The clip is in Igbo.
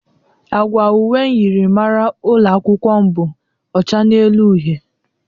Agwa uwe myịrịmara ụlọ akwụkwọ m bụ ọcha n'elu uhe.